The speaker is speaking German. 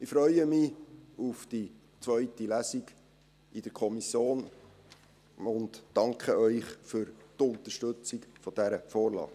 Ich freue mich auf die zweite Lesung in der Kommission und danke Ihnen für die Unterstützung dieser Vorlage.